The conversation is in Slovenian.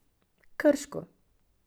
Krško.